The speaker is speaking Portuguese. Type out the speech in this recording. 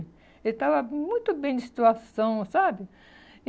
Ele estava muito bem de situação, sabe? E